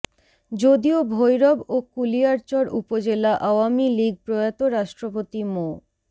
যদিও ভৈরব ও কুলিয়ারচর উপজেলা আওয়ামী লীগ প্রয়াত রাষ্ট্রপতি মো